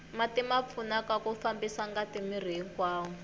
mati ma pfuna ku fambisa ngati miri hinkwawo